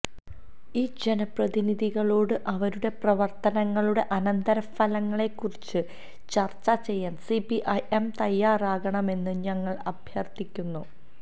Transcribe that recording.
ഈ ജനപ്രതിനിധികളോട് അവരുടെ പ്രവർത്തനങ്ങളുടെ അനന്തരഫലങ്ങളെക്കുറിച്ച് ചർച്ച ചെയ്യാൻ സിപിഐഎം തയ്യാറാകണമെന്ന് ഞങ്ങൾ അഭ്യർത്ഥിക്കുന്നു